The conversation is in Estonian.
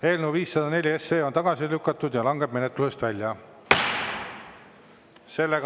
Eelnõu 504 on tagasi lükatud ja langeb menetlusest välja.